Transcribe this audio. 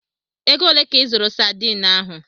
Ego ole ka ị zụrụ Sadiin ahụ?